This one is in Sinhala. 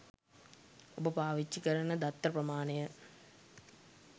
ඔබ පාවිච්චි කරන දත්ත ප්‍රමාණය